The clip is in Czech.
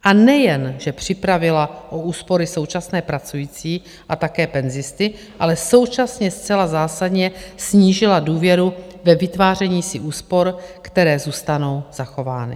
A nejenže připravila o úspory současné pracující a také penzisty, ale současně zcela zásadně snížila důvěru ve vytváření si úspor, které zůstanou zachovány.